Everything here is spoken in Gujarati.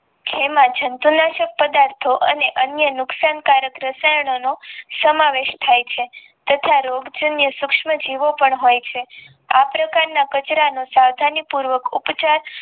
એમાં જંતુનાશક પદાર્થો અને અન્ય નુકશાન કારક રસાયણો નો સમાવેશ થઈ છે તથા સૂક્ષ્મ જીવો પણ હોઈ છે આ પ્રકારન ના કચરા નો સાવધાની પૂર્વક ઉપચાર